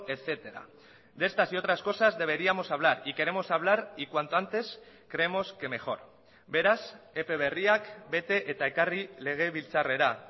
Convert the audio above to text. etcétera de estas y otras cosas deberíamos hablar y queremos hablar y cuanto antes creemos que mejor beraz epe berriak bete eta ekarri legebiltzarrera